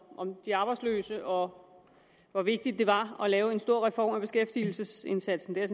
om de arbejdsløse og hvor vigtigt det var at lave en stor reform af beskæftigelsesindsatsen det er